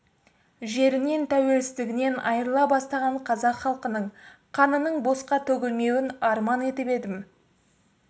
жерінен тәуелсіздігінен айырыла бастаған қазақ халқының қанының босқа төгілмеуін арман етіп едім